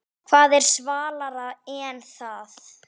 Hvað er svalara en það?